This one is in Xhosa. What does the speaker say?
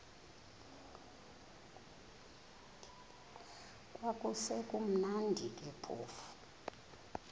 kwakusekumnandi ke phofu